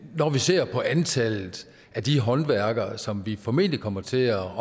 når vi ser på antallet af de håndværkere som vi formentlig kommer til at